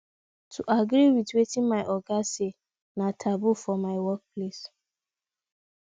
to agree with wetin my oga say na taboo for my workplace